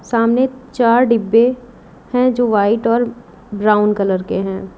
सामने चार डिब्बे हैं जो वाइट और ब्राउन कलर के हैं।